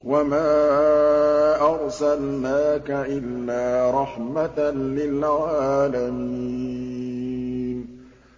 وَمَا أَرْسَلْنَاكَ إِلَّا رَحْمَةً لِّلْعَالَمِينَ